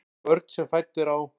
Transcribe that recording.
Börn sem fædd eru á